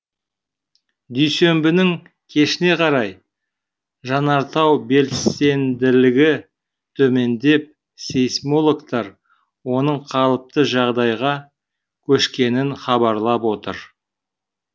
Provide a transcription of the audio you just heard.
дүйсенбінің кешіне қарай жанартау белсенділігі төмендеп сейсмологтар оның қалыпты жағдайға көшкенін хабарлап отыр